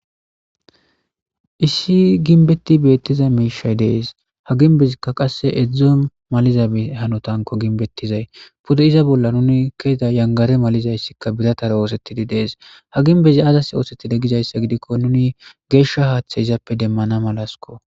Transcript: issi ginbetti beettiza miishay dees ha ginbezikka qasse edzdzo maliza hanotanko ginbettizay pude iza bolla nuni keeda yangare malizayssikka biratara oosettidi dees ha ginbezi azas oosettida gizayssa gidikko nuni geeshsha haaththe izappe demmana malasko